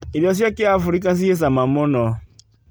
Irio cia kĩabirika ci cama mũno.